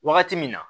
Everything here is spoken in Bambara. Wagati min na